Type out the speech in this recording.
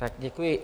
Tak děkuji.